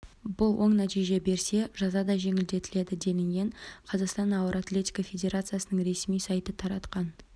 бұл оң нәтиже берсе жаза да жеңілдетіледі делінген қазақстан ауыр атлетика федерациясының ресми сайты таратқан